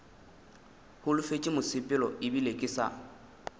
holofetše mosepelo ebile ke sa